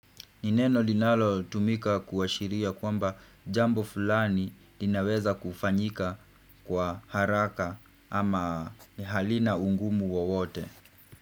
Ni neno linalotumika kuashiria kwamba jambo fulani linaweza kufanyika kwa haraka ama halina ungumu wowote.